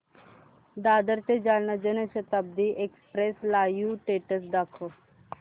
दादर ते Jalna Janshatabdi express live status दाखव